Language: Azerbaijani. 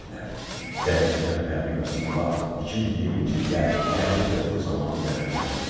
Zərər çəkən Pərvin Qasımova 2020-ci ildə Gəncə terroru zamanı zərər çəkib.